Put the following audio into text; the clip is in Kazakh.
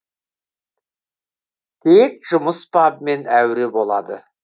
тек жұмыс бабымен әуре болады